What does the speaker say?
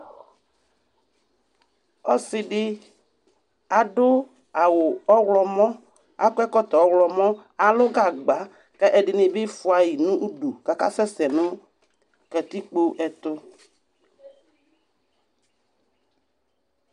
osidi aduawu oxlɔmo akɔɛkɔtɔ oxlɔmo alugagba ku ɛdinibi ƒuayinudu ku akasɛsɛ nu katikpo ɛtu